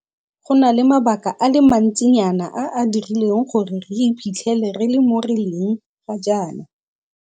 Go na le mabaka a le mantsinyana a a dirileng gore re iphitlhele re le mo re leng ga jaana.